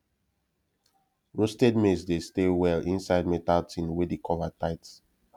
roasted maize dey stay well inside metal tin wey the cover tight